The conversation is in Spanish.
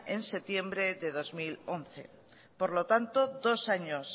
en septiembre de dos mil once por lo tanto dos años